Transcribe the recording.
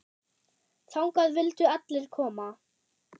Þangað vildu allir koma.